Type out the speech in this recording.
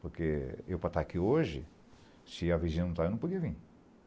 Porque eu para estar aqui hoje, se a vizinha não está, eu não podia vir.